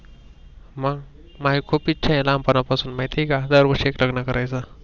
मग माझी खूप इच्छा आहे लहानपणापासून माहित आहे का दरर्वर्षी एक लग्न करायेच.